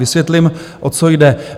Vysvětlím, o co jde.